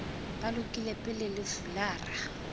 ba lokile pele le fulara